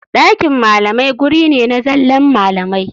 Ɗakin malamai guri ne na zallan malamai.